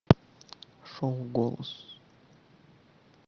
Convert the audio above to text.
шоу голос